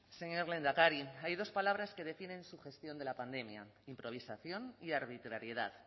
señor lehendakari hay dos palabras que defienden su gestión de la pandemia improvisación y arbitrariedad